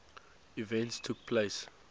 events took place